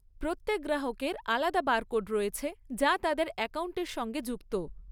প্রত্যেক গ্রাহকের আলাদা বারকোড রয়েছে যা তাদের অ্যাকাউন্টের সঙ্গে যুক্ত।